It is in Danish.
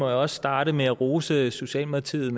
også starte med at rose socialdemokratiet